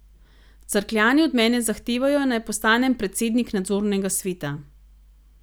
Cerkljani od mene zahtevajo, naj postanem predsednik nadzornega sveta.